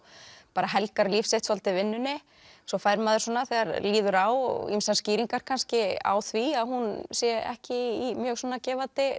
bara helgar líf sitt svolítið vinnunni svo fær maður svona þegar líður á ýmsar skýringar kannski á því að hún sé ekki í mjög gefandi